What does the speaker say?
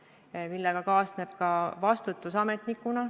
Ja sellega kaasneb ka vastutus ametnikuna.